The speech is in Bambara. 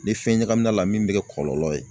Ni fɛn ɲagamina a la min bɛ kɛ kɔlɔlɔ ye.